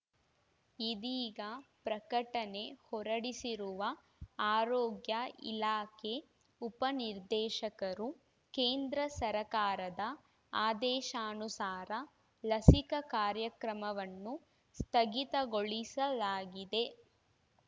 ಇದೀಗ ಪ್ರಕಟಣೆ ಹೊರಡಿಸಿರುವ ಆರೋಗ್ಯ ಇಲಾಖೆ ಉಪ ನಿರ್ದೇಶಕರು ಕೇಂದ್ರ ಸರಕಾರದ ಆದೇಶಾನುಸಾರ ಲಸಿಕಾ ಕಾರ್ಯಕ್ರಮವನ್ನು ಸ್ಥಗಿತಗೊಳಿಸಲಾಗಿದೆ